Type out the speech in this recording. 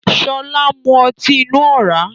Sọlá ń mú ọtí inú ọ̀rá